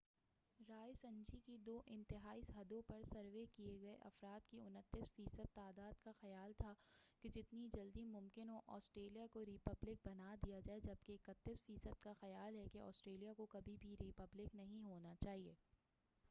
رائے سنجی کی دو انتہائی حدوں پر سروے کئے گئے افراد کی 29 فی صد تعداد کا خیال تھا کہ جتنی جلد ممکن ہو آسٹریلیا کو ری پبلک بنا دیا جائے جبکہ 31 فی صد کا خیال ہے کہ آسٹریلیا کو کبھی بھی ری پبلک نہیں ہونا چاہئے